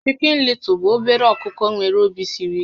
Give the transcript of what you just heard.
Chikin Lịtụl bụ obere ọkụkọ nwéré òbì siri íké